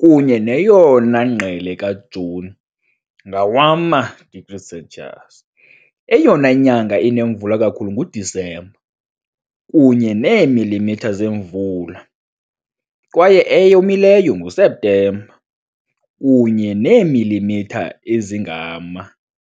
kunye neyona ngqele kaJuni, ngowama-degrees Celsius. Eyona nyanga inemvula kakhulu nguDisemba, kunye neemilimitha zemvula, kwaye eyomileyo nguSeptemba, kunye neemilimitha ezingama .